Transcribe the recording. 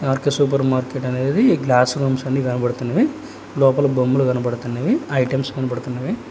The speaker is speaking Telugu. ఆర్_కె సూపర్ మార్కెట్ అనేది గ్లాస్ రూమ్స్ అన్ని కనబడుతున్నవి లోపల బొమ్మలు కనబడుతున్నవి ఐటమ్స్ కనబడుతున్నవి